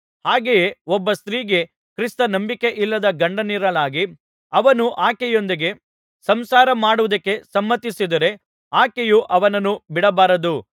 ಹಾಗೆಯೇ ಒಬ್ಬ ಸ್ತ್ರೀಗೆ ಕ್ರಿಸ್ತ ನಂಬಿಕೆಯಿಲ್ಲದ ಗಂಡನಿರಲಾಗಿ ಅವನು ಆಕೆಯೊಂದಿಗೆ ಸಂಸಾರ ಮಾಡುವುದಕ್ಕೆ ಸಮ್ಮತಿಸಿದರೆ ಆಕೆಯು ಅವನನ್ನು ಬಿಡಬಾರದು